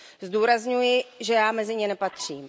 Zdůrazňuji, že já mezi ně nepatřím.